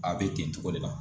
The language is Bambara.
A bɛ ten cogo de la